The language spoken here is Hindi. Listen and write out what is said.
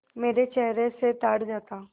मेरे चेहरे से ताड़ जाता